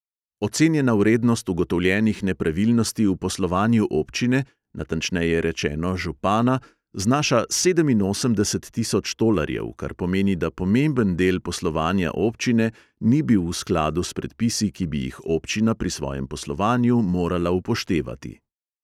Ocenjena vrednost ugotovljenih nepravilnosti v poslovanju občine, natančneje rečeno, župana, znaša sedeminosemdeset tisoč tolarjev, kar pomeni, da pomemben del poslovanja občine ni bil v skladu s predpisi, ki bi jih občina pri svojem poslovanju morala upoštevati.